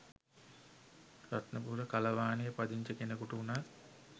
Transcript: රත්නපුර කලවානේ පදිංචි කෙනකුට වුණත්